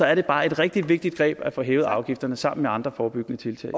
er det bare et rigtig vigtigt greb at få hævet afgifterne sammen med andre forebyggende tiltag